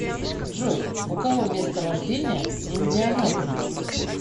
джой у кого место рождения индианаполис